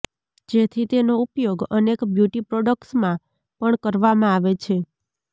જેથી તેનો ઉપયોગ અનેક બ્યુટી પ્રોડક્ટ્સમાં પણ કરવામાં આવે છે